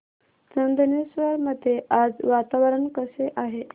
चंदनेश्वर मध्ये आज वातावरण कसे आहे